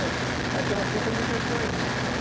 É. Aí tem umas trinta mil pessoas aí dentro.